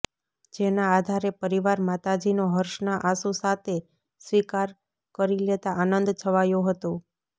જેના આધારે પરિવાર માતાજીનો હર્ષના આંસુ સાતે સ્વીકાર કરી લેતા આનંદ છવાયો હતો